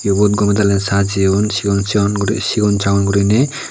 ibot gome dali sajeyon sigon sigon guri sigon sagon guriney.